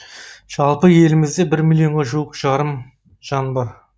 жалпы елімізде бір миллионға жуық жарымжан бар